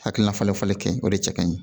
Hakilina falenfalen kɛ o de cɛ ka ɲi